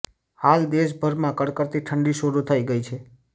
હાલ દેશભરમાં કડકડતી ઠંડી શરૂ થઈ ગઈ છે